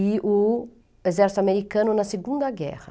E o exército americano na Segunda Guerra.